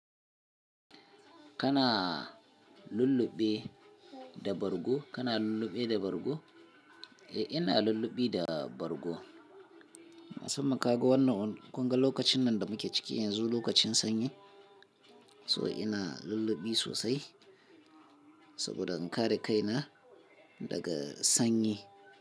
Kana lulluɓe da bargo? Kana lulluɓe da bargo? Eh, ina lulluɓi da bargo. Musamman kaga wannan kunga lokacin nan da muke ciki yanzu, lokacin sanyi, so ina lulluɓi sosai saboda in kare kaina daga sanyi.